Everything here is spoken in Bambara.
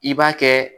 I b'a kɛ